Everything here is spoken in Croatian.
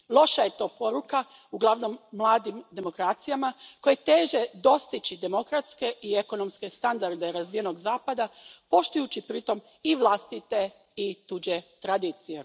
Loša je to poruka uglavnom mladim demokracijama koje teže dostići demokratske i ekonomske standarde razvijenog Zapada, poštujući pritom i vlastite i tuđe tradicije.